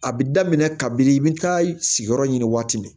A bi daminɛ kabi i bi taa sigiyɔrɔ ɲini waati min na